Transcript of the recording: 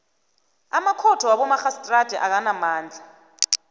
amakhotho wabomarhistrada akanamandla